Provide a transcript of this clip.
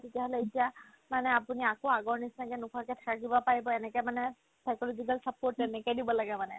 তেতিয়াহ'লে এতিয়া মানে আপুনি আকৌ আগৰ নিচিনাকে নোখোৱাকে থাকিব পাৰিব এনেকে মানে psychological support তেনেকে দিব লাগে মানে